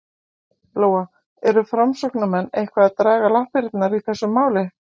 Lóa: Eru framsóknarmenn eitthvað að draga lappirnar í þessu máli?